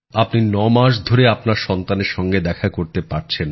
আপনি ৯ মাস ধরে আপনার সন্তানের সঙ্গে দেখা করতে পারছেন না